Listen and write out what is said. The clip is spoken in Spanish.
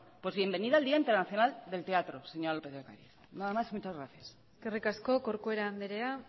pues bienvenida al día internacional del teatro señora lópez de ocariz nada más y muchas gracias eskerrik asko corcuera andrea